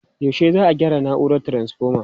Yaushe za'a gyara na'urar taranfoma?